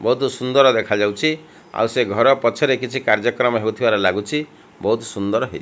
ବୋହୁତ ସୁନ୍ଦର ଦେଖାଯାଉଛି। ଆଉ ସେ ଘର ପଛରେ କିଛି କାର୍ଯ୍ୟ କ୍ରମ ହୋଇଥିବାର ଲାଗୁଛି। ବୋହୁତ ସୁନ୍ଦର ହେଇଛି।